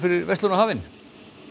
hafinn